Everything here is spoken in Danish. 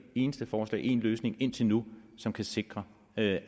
eneste forslag til en løsning indtil nu som kan sikre at